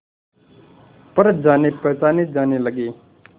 पर जानेपहचाने जाने लगे